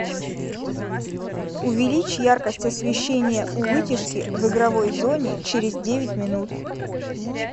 увеличь яркость освещения у вытяжки в игровой зоне через девять минут